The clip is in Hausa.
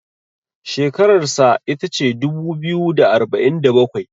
shekararsa ita ce dubu biyu da arba'in da bakwai